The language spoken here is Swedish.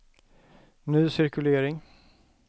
ny cirkulering